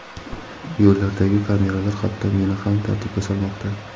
Yo‘llardagi kameralar hatto meni ham tartibga solmoqda.